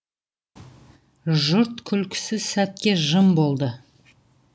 жұрт күлкісі сәтке жым болды